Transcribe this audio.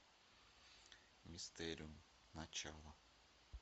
мистериум начало